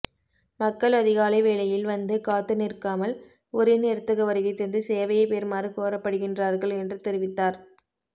மக்கள் அதிகாலை வேளையில் வந்து காத்து நிற்காமல் உரிய நேரத்துக்கு வருகைதந்து சேவையைப் பெறுமாறு கோரப்படுகின்றார்கள் என்று தெரிவித்தார்